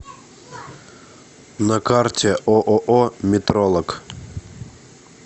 на карте ооо метролог